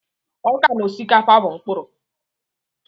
Ọka na osikapa bụ mkpururu